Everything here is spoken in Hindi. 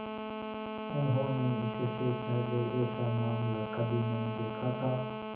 उन्होंने इससे पहले ऐसा मामला कभी नहीं देखा था